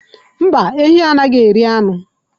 Mba, ehi anaghi eri anu.